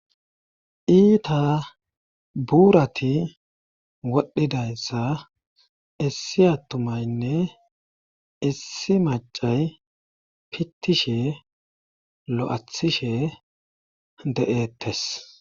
iita buurati wodhdhidayssa issi attumaynne issi macay pittishe lo7athishe de7eettes